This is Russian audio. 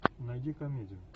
найди комедию